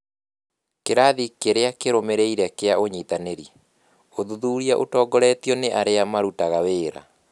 Kĩrathi kĩrĩa kĩrũmĩrĩire kĩa ũnyitanĩri: ũthuthuria ũtongoretio nĩ arĩa marutaga wĩra.